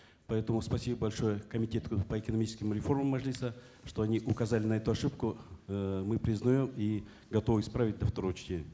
поэтому спасибо большое комитету по экономическим реформам мажилиса что они указали на эту ошибку э мы признаем и готовы исправить до второго чтения